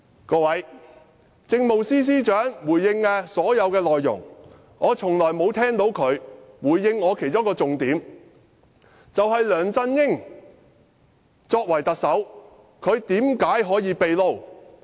各位，政務司司長沒有回應我提出的其中一個重點，就是梁振英作為特首，為何可以"秘撈"？